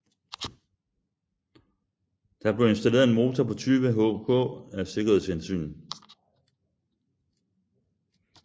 Der blev installeret en motor på 20 hk af sikkerhedshensyn